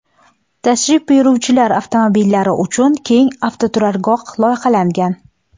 Tashrif buyuruvchilar avtomobillari uchun keng avtoturargoh loyihalangan.